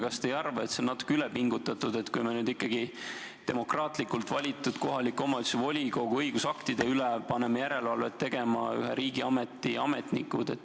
Kas te ei arva, et see on üle pingutatud, kui me nüüd ikkagi demokraatlikult valitud kohaliku omavalitsuse volikogu õigusaktide üle paneme järelevalvet tegema ühe riigiameti ametnikud?